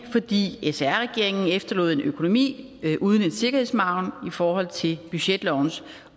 fordi sr regeringen efterlod en økonomi uden en sikkerhedsmargen i forhold til budgetlovens